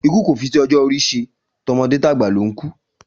Ikú kò fi ti ojó orí se, tomodé tàgbà ló n kú